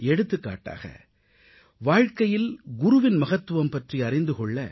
எடுத்துக்காட்டாக வாழ்க்கையில் குருவின் மகத்துவம் பற்றி அறிந்து கொள்ள